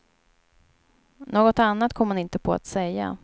Något annat kom hon inte på att säga.